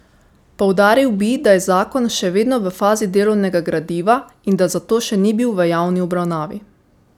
Poudaril bi, da je zakon še vedno v fazi delovnega gradiva in da zato še ni bil v javni obravnavi.